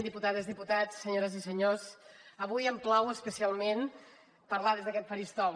diputades diputats senyores i senyors avui em plau especialment parlar des d’aquest faristol